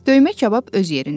Döymə kabab öz yerində.